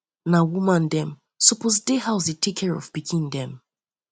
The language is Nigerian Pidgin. na woman dem suppose dey house dey take care of pikin dem